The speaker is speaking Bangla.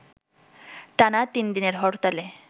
টানা তিন দিনের হরতালে